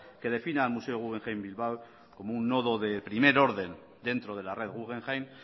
que defina al museo guggenheim bilbao como un nodo de primer orden dentro de la red guggenheim